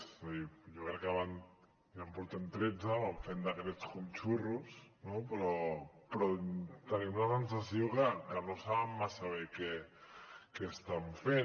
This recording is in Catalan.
és a dir jo crec que ja en portem tretze van fent decrets com a xurros no però tenim la sensació que no saben massa bé què estan fent